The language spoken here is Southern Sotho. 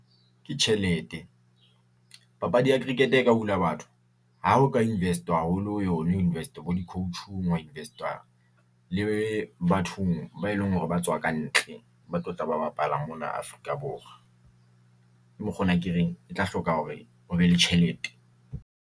Ke tjhelete, papadi ya cricket-e e ka hula batho. Ha o ka investwa haholo ho yona ho investwa bo di-coache-ng, hwa investwa le bathong ba e leng hore ba tswa ka ntle. Ba tlo tla ba bapala mona Afrika Borwa. Ke mokgo ona, ke reng e tla hloka hore ho be le tjhelete.